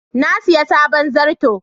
Na siya sabon zarto.